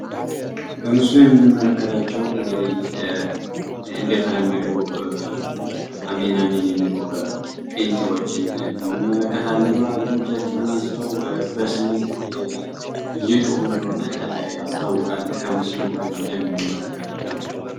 በምስሉ የምንመለከታቸው እንግዲህ እንደተለመደው አሜን አሜን የሚሉ ጴንጤዎችን እንመለከታለን ማለት ነው። እጃቸውን አንስተው በስሜት እየጮሁ እንደሆነ ያስታውቃል ከምስሉ እንደምንመለከተው።